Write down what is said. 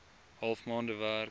half maande werk